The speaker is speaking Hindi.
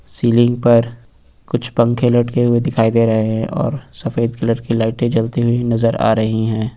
सीलिंग पर कुछ पंखे लटके हुए दिखाई दे रहे हैं और सफेद कलर की लाइटें जलती हुई नजर आ रही है।